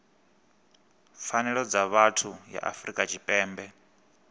pfanelo dza vhuthu ya afrika tshipembe